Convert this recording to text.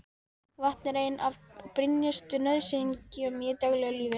Vatn er ein af brýnustu nauðsynjum í daglegu lífi.